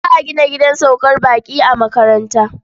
Za a gina gidan saukar baƙi a makaranta.